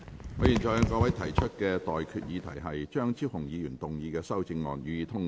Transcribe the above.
我現在向各位提出的待決議題是：張超雄議員動議的修正案，予以通過。